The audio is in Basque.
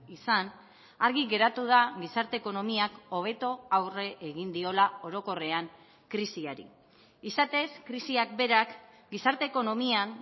izan argi geratu da gizarte ekonomiak hobeto aurre egin diola orokorrean krisiari izatez krisiak berak gizarte ekonomian